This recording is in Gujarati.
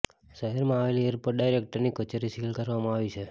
શહેરમાં આવેલી એરપોર્ટ ડાયરેક્ટરની કચેરી સીલ કરવામાં આવી છે